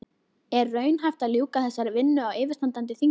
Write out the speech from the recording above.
En er raunhæft að ljúka þessari vinnu á yfirstandandi þingi?